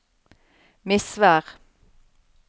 Misvær